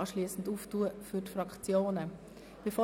Anschliessend möchte ich die Debatte für die Fraktionen öffnen.